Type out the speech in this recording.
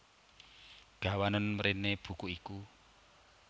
Gawanen mréné buku iku